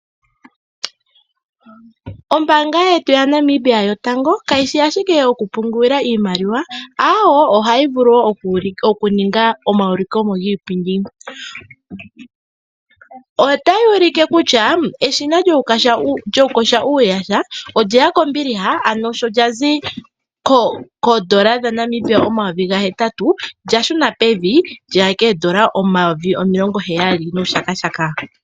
Ombaanga yetu yaNamibia yotango kayi shi ashike yokupungulila iimaliwa aawo ohayi vulu wo oku ninga omaulikomo giipindi otayi ulike kutya eshina lyokukosha uuyaha olyeya kombiliha ano sho lya zi koondola dhaNamibia o8000 lya shuna pevi lyeya koondola omayovi omilongo heyali nuushakashakaka.